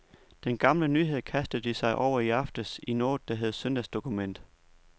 Den gamle nyhed kastede de sig over i aftes i noget, der hedder søndagsdokument.